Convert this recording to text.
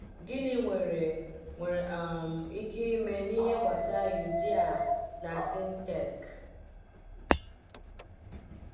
Gịnị nwere nwere um ike ime n’ihe gbasara Euodia na Syntyche?